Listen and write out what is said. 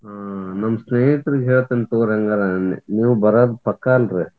ಹಾ ನಮ್ಮ್ ಸ್ನೇಹಿತ್ರಿಗೆ ಹೇಳ್ತಿನ್ ತಗೋರಿ ಹಂಗಾರಾ ನೀ~ ನೀವ್ ಬರೋದ್ ಪಕ್ಕಾ ಅಲ್ರಿ?